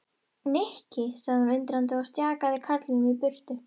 Nikki sagði hún undrandi og stjakaði karlinum í burtu.